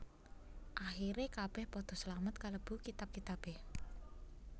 Akhire kabeh padha slamet kalebu kitab kitabe